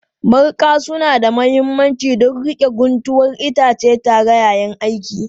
Mariƙa suna da mahimmanci don riƙe guntuwar itace tare yayin aiki